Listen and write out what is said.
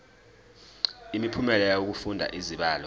imiphumela yokufunda izibalo